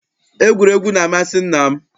Egwuregwu na-amasị nna m.